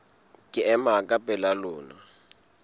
ke ema ka pela lona